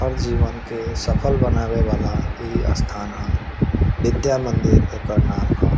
हर जीवन के सफल बनावे वाला ई स्थान ह विद्या मंदिर एकर नाम ह।